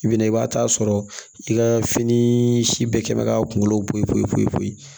I bina i b'a t'a sɔrɔ i ka fini si bɛɛ kɛ mɛ k'a kungolo bɔ ye koyi foyi peyi